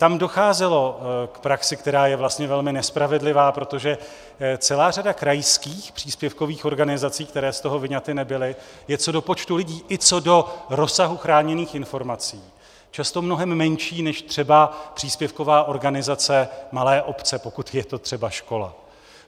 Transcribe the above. Tam docházelo k praxi, která je vlastně velmi nespravedlivá, protože celá řada krajských příspěvkových organizací, které z toho vyňaty nebyly, je co do počtu lidí i co do rozsahu chráněných informací často mnohem menší než třeba příspěvková organizace malé obce, pokud je to třeba škola.